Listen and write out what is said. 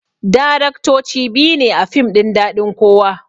Daraktoci biyu ne a fim ɗin daɗin kowa